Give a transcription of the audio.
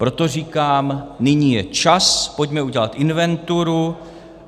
Proto říkám, nyní je čas, pojďme udělat inventuru.